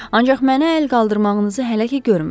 Ancaq mənə əl qaldırmağınızı hələ ki görmürəm.